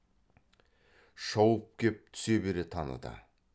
шауып кеп түсе бере таныды